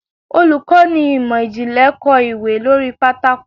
Olukọni imọ-jinlẹ kọ ìwé lori pàtàkó